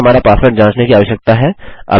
हमें हमारा पासवर्ड जाँचने की आवश्यकता है